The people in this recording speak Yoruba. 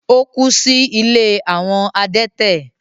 Ó kú sí “ ilé àwọn adẹ́tẹ̀”.